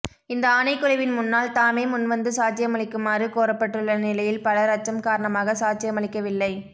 இந்த ஆணைக்குழுவின் முன்னால் தாமே முன்வந்து சாட்சியமளிக்குமாறு கோரப்பட்டுள்ள நிலையில் பலர் அச்சம் காரணமாக சாட்சியமளிக்கவில்லை